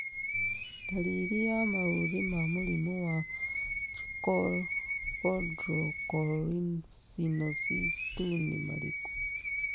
Ndariri na maũthĩ ma mũrimũ wa Chondrocalcinosis 2 nĩ marĩkũ?